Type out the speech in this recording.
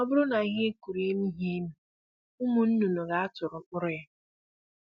Ọ bụrụ na ihe ị kụrụ emighi emi, ụmụ nnụnụ ga-atụrụ mkpụrụ ya